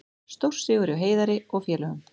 Stórsigur hjá Heiðari og félögum